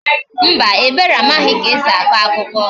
Mba, Ebere amaghị ka e si akọ akụkọ